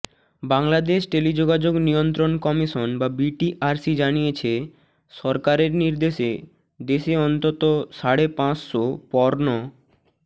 বাংলাদেশ টেলিযোগাযোগ নিয়ন্ত্রণ কমিশন বা বিটিআরসি জানিয়েছে সরকারের নির্দেশে দেশে অন্তত সাড়ে পাঁচশো পর্ন